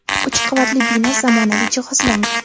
uch qavat bino zamonaviy jihozlangan.